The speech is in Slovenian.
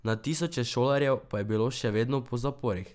Na tisoče šolarjev pa je bilo še vedno po zaporih.